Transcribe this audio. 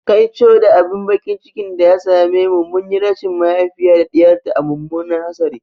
Kaico da abin baƙin ciki da ya same mu, mun yi rashin mahaifiya da ɗiyar ta a mummunan hatsari.